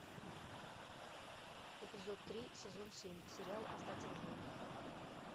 эпизод три сезон семь сериал остаться в живых